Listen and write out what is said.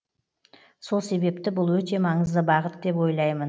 сол себепті бұл өте маңызды бағыт деп ойлаймын